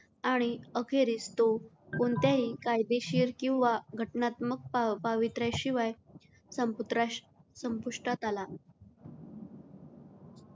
आणि अखेरीस तो कोणत्याही कायदेशीर किंवा घटनात्मक पावित्र्याशिवाय संपुष्त संपु.